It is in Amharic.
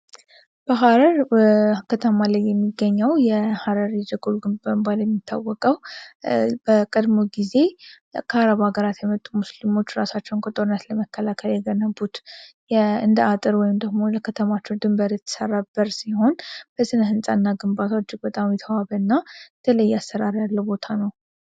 በህረር ከተማለይ የሚገኘው የሃረር የጀጎል ግንብ በመባል የሚታወቀው በቀድሞ ጊዜ ከአረብ ሀገራት የመጡ ሙስልሞች እራሳቸውን ከጦርነት ለመከላከል የገነቡት እንደ አጥር ወይም ደግሞ ለከተማችው ድንበር የተሰራ በር ሲሆን በስነ ሕንፃ እና ግንባትው እጅግ በጣም የተዋበ እና ትለይ አሰራር ያለ ቦታ ነው።